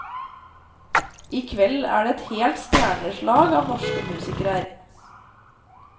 I kveld er det et helt stjernelag av norske musikere her.